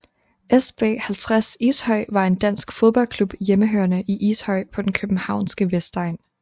SB 50 Ishøj var en dansk fodboldklub hjemmehørende i Ishøj på den københavnske vestegn